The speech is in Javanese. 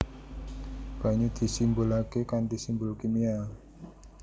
Banyu disimbolaké kanthi simbol kimia